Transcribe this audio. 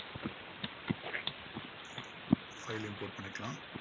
file லயும் quote பண்ணிக்கலாம்.